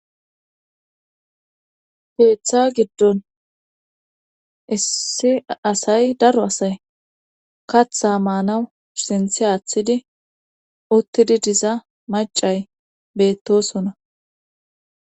Geeththa giddon issi asay daro asay katha maanawu sinthi aaththidi uttidi diza macay beettosona.